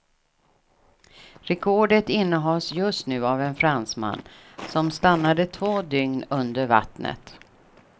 Rekordet innehas just nu av en fransman som stannade två dygn under vattnet.